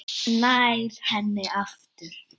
Nær henni aftur.